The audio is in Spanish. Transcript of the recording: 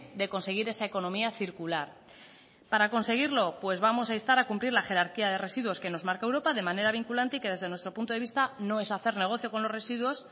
de conseguir esa economía circular para conseguirlo pues vamos a instar a cumplir la jerarquía de residuos que nos marca europa de manera vinculante y que desde nuestro punto de vista no es hacer negocio con los residuos